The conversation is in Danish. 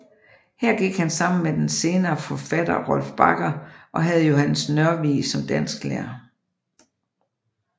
Her gik han sammen med den senere forfatter Rolf Bagger og havde Johannes Nørvig som dansklærer